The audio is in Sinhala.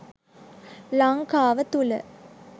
ලංකාව තුළ